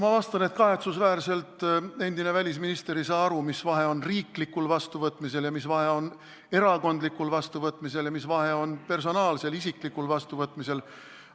Ma vastan, et kahetsusväärselt ei saa endine välisminister aru, mis vahe on riiklikul vastuvõtmisel, erakondlikul vastuvõtmisel ja personaalsel, isiklikul vastuvõtmisel.